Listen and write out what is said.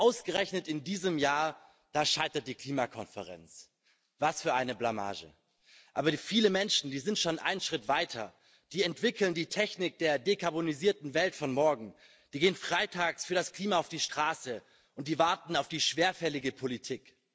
Ausgerechnet in diesem Jahr, da scheitert die Klimakonferenz. Was für eine Blamage! Aber viele Menschen, die sind schon einen Schritt weiter Die entwickeln die Technik der dekarbonisierten Welt von morgen, die gehen freitags für das Klima auf die Straße, und die warten auf die schwerfällige Politik.